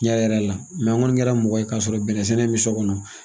n ɲɛ yɛlɛ la n kɔni kɛra mɔgɔ ye ka sɔrɔ bɛnɛ sɛnɛ bɛ so kɔnɔ.